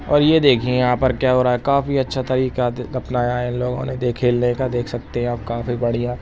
और ये देखिये यहाँ पर क्या हो रहा हैं काफी अच्छा तरीका अपनाया है इन लोगोने देखिये खेलने का देख सकते हैं आप काफी बढ़िया।